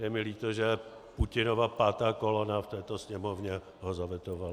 Je mi líto, že Putinova pátá kolona v této Sněmovně ho zavetovala.